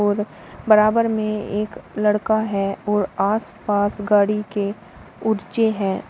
और बराबर में एक लड़का है और आस पास गाड़ी के हैं।